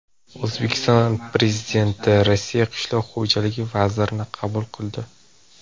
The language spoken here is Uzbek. O‘zbekiston Prezidenti Rossiya qishloq xo‘jaligi vazirini qabul qildi.